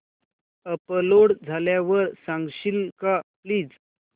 upload झाल्यावर सांगशील का प्लीज